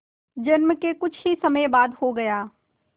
जन्म के कुछ ही समय बाद हो गया